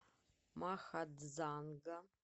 махадзанга